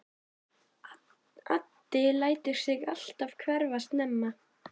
Addi lætur sig alltaf hverfa snemma.